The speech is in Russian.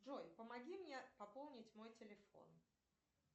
джой помоги мне пополнить мой телефон